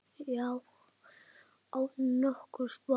Já, án nokkurs vafa.